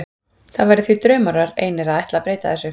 Það væri því draumórar einir að ætla að breyta þessu.